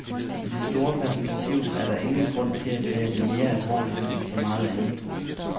I det store perspektiv er der ingen grund til at tage det mere alvorligt end så meget andet.